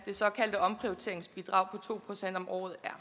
det såkaldte omprioriteringsbidrag to procent om året er